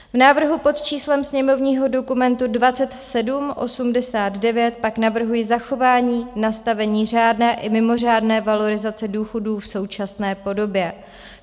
V návrhu pod číslem sněmovního dokumentu 2789 pak navrhuji zachování nastavení řádné i mimořádné valorizace důchodů v současné podobě.